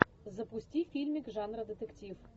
запусти фильмик жанра детектив